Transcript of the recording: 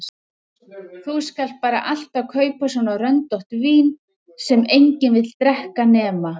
Þú skalt bara alltaf kaupa svona röndótt vín sem enginn vill drekka nema